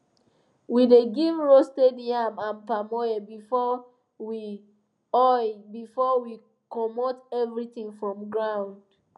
we dey give roasted yam and palm oil before we oil before we comot everything from ground